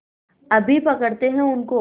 अभी पकड़ते हैं उनको